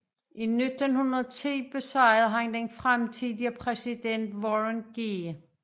I 1910 besejrede han den fremtidige præsident Warren G